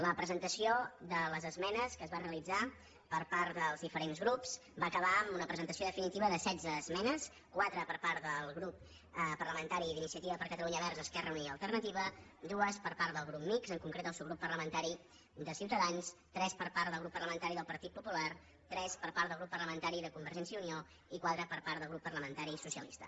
la presentació de les esmenes que es va realitzar per part dels diferents grups va acabar amb una presentació definitiva de setze esmenes quatre per part del grup parlamentari d’iniciativa per catalunya verds esquerra unida i alternativa dues per part del grup mixt en concret el subgrup parlamentari ciutadans tres per part del grup parlamentari del partit popular tres per part del grup parlamentari de convergència i unió i quatre per part del grup parlamentari socia lista